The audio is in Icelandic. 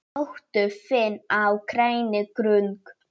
Njóttu þín á grænni grund.